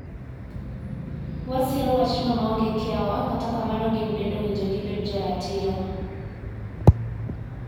Wasiro wachno maonge kiawa kata kamano gin bende owinjo gibed joratiro.